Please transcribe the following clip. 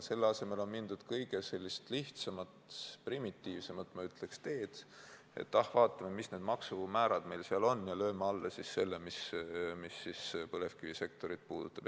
Selle asemel on mindud kõige lihtsamat, primitiivsemat, ma ütleks, teed, et ah, vaatame, mis need maksumäärad meil seal on, ja lööme alla siis selle, mis põlevkivisektorit puudutab.